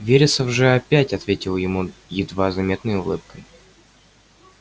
вересов же опять ответил ему едва заметной улыбкой